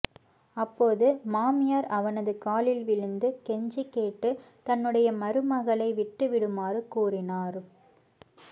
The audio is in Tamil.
அப்போது மாமியார் அவனது காலில் விழுந்து கெஞ்சி கேட்டு தன்னுடைய மருமகளை விட்டு விடுமாறு கூறினார்